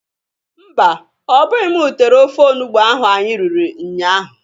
Mba! Ọbụghị m tere ofe onugbo ahụ anyị riri nnya ahụ.